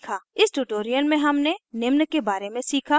इस tutorial में हमने निम्न के बारे में सीखा